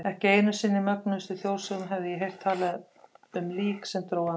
Ekki einu sinni í mögnuðustu þjóðsögum hafði ég heyrt talað um lík sem drógu andann.